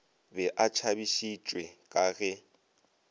be a tšhabišitšwe ka ge